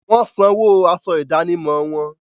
Wọ́n sanwó aṣọ ìdánimọ̀ wọn.